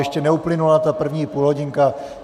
Ještě neuplynula ta první půlhodinka.